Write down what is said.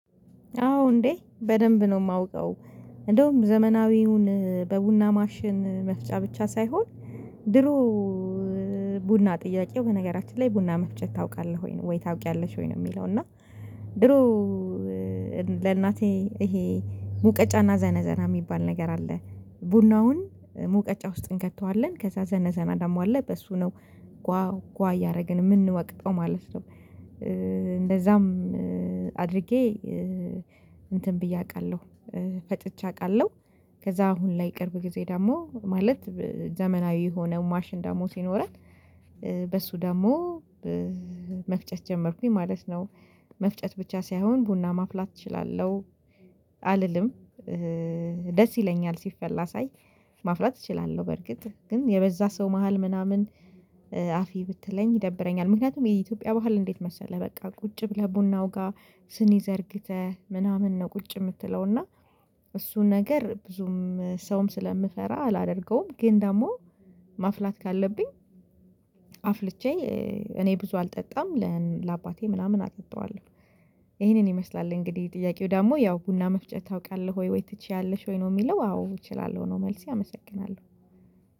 አዎ እንዴ በደንብ ነው የማውቀው። እንደውም ዘመናዊውን በቡና ማሽን መፍጫ ብቻ ሳይሆን። ድሮ ቡና ጥያቄው በነገራችን ላይ ቡና መፍጨት ታውቃለህ ወይ ታውቂያለሽ ወይ ነው የሚለው? እና። ድሮ ለእናቴ ይሄ ሙቀጫና ዘነዘና የሚባል ነገር አለ። ቡናውን ሙቀጫ ውስጥ እንከተዋለን ከዛ ዘነዘና ደግሞ አለ በሱ ነው ጓ ጓ ያደረገን የምንወቅጠው ማለት ነው። እንደዛም አድርጌ እንትን ብዬ አውቃለሁ። ፈጭቼ አውቃለሁ። ከዛ አሁን ላይ ቅርብ ጊዜ ደግሞ ማለት ዘመናዊ የሆነ ማሽን ደግሞ ሲኖረን በሱ ደግሞ መፍጨት ጀመርኩኝ ማለት ነው። መፍጨት ብቻ ሳይሆን ቡና ማፍላት እችላለሁ። አልልም። ደስ ይለኛል ሲፈላ ሳይ። ማፍላት እችላለሁ በርግጥ ግን የበዛ ሰው መሃል ምናምን አፍዪ ብትለኝ ይደብረኛል። ምክንያቱም የኢትዮጵያ ባህል እንዴት መሰለህ? በቃ ቁጭ ብለህ ቡናው ጋር ስኒ ዘርግተህ ምናምን ነው። ቁጭ የምትለው እና እሱ ነገር ብዙም ሰውም ስለምፈራ አላደርገውም። ግን ደግሞ ማፍላት ካለብኝ አፍልቼ እኔ ብዙ አልጠጣም ለአባቴ ምናምን አጠጣዋለሁ። ይሄንን ይመስላል እንግዲህ ጥያቄው ደግሞ ያው ቡና መፍጨት ታውቃለህ ወይ ወይ ትችያለሽ ወይ ነው የሚለው? አዎ እችላለሁ ነው። መልሴ አመሰግናለሁ።